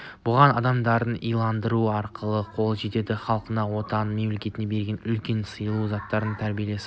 бұған адамды иландыру арқылы қол жеткізеді халқыңа отаныңа мемлекетке берілгендік үлкенді сыйлау заңды тәртіпті салт